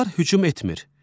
İlanlar hücum etmir.